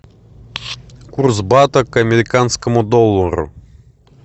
курс бата к американскому доллару